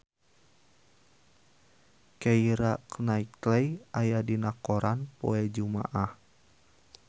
Keira Knightley aya dina koran poe Jumaah